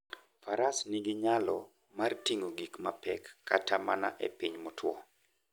Faras nigi nyalo mar ting'o gik mapek kata mana e piny motwo.